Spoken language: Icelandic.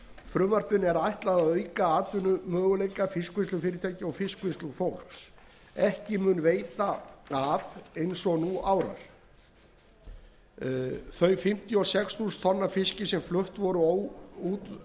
frumvarpinu er ætlað að auka atvinnumöguleika fiskvinnslufyrirtækja og fiskvinnslufólks ekki mun veita af eins og nú árar þau fimmtíu og sex þúsund tonn af fiski sem flutt voru út